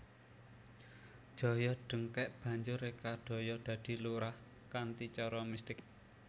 Joyo dengkek banjur reka daya dadi lurah kanthi cara mistik